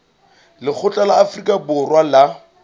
lekgotla la afrika borwa la